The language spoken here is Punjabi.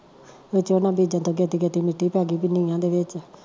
ਵਿੱਚ ਓਨਾ ਦੇ ਜਦੋਂ ਗੇਤੀ ਗੇਤੀ ਮਿੱਟੀ ਪੈ ਗਈ ਤੀ ਨੀਆਂ ਦੇ ਵਿੱਚ